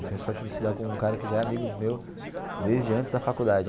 Eu tenho sorte de estudar com um cara que já é amigo meu desde antes da faculdade.